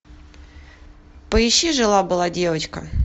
поищи жила была девочка